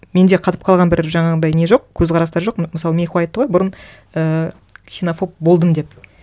менде қатып қалған бір жаңағындай не жоқ көзқарастар жоқ мысалы мейхуа айтты ғой бұрын ііі ксенофоб болдым деп